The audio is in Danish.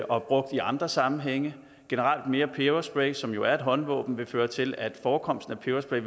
og brugt i andre sammenhænge mere peberspray som er jo et håndvåben vil føre til at forekomsten af peberspray